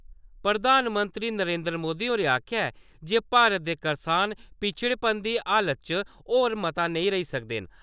प्रधानमंत्री नरेन्द्री मोदी होरें आखेआ ऐ जे भारत दे करसान पच्छड़ेपन दी हालत च होर मता नेईं रेई सकदे न ।